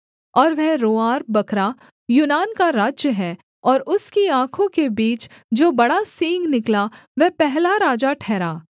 और वह रोंआर बकरा यूनान का राज्य है और उसकी आँखों के बीच जो बड़ा सींग निकला वह पहला राजा ठहरा